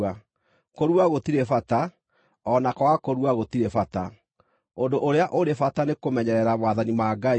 Kũrua gũtirĩ bata; o na kwaga kũrua gũtirĩ bata. Ũndũ ũrĩa ũrĩ bata nĩ kũmenyerera maathani ma Ngai.